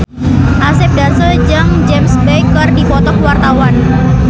Asep Darso jeung James Bay keur dipoto ku wartawan